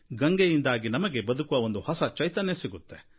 ಗಂಗೆಯಿಂದಾಗಿ ನಮಗೆ ಬದುಕುವ ಒಂದು ಹೊಸ ಚೈತನ್ಯ ಸಿಗುತ್ತೆ